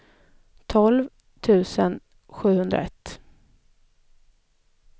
tolv tusen sjuhundraett